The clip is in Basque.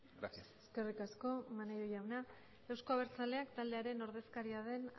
gracias eskerrik asko maneiro jauna eusko abertzaleak taldearen ordezkaria den